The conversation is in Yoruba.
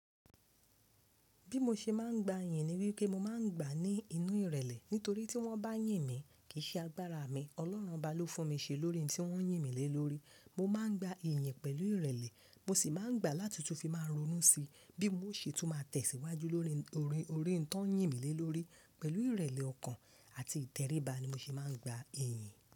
Bí mo ṣe máa ń gba iyì ni wípé mo máa ń gba ní inú ìrẹ̀lẹ̀. Nítorí tí wọ́n bá yìn mí, kì í ṣe agbára mi, Ọlọ́run bá ló fún mi ṣe lórí ohun tí wọ́n yìn mí lé lórí. Mo máa ń gba iyì pẹ̀lú ìrẹ̀lẹ̀, mo sì máa ń gbà á láti tún fi máa ronú sí i bí ó ṣe tún máa tẹ̀síwájú lórí orin orin tó ń yìn mí lé lórí. Pẹ̀lú ìrẹ̀lẹ̀ ọkàn àti ìtẹríba ni mo ṣe máa ń gba iyì.